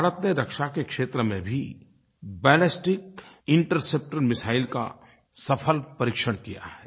भारत ने रक्षा के क्षेत्र में भी बैलिस्टिक इंटरसेप्टर मिसाइल का सफल परीक्षण किया है